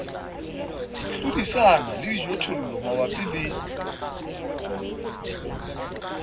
hlodisana le dijothollo mabapi le